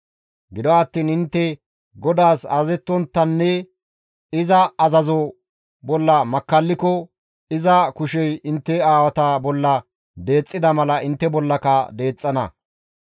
Gido attiin intte GODAAS azazettontta ixxidi iza azazo bolla makkalliko, iza kushey intte aawata bolla deexxida mala intte bollaka deexxana.